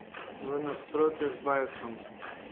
V nasprotju z Bajsom.